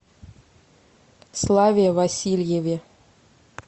славе васильеве